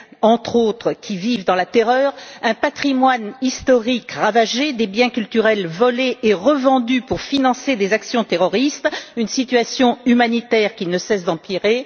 entre autres, vivent dans la terreur, un patrimoine historique est ravagé, des biens culturels sont volés et revendus pour financer des actions terroristes, la situation humanitaire ne cesse d'empirer.